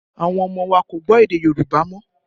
Àwọn ọmọ wa kò gbọ́ èdè Yorùbá mọ́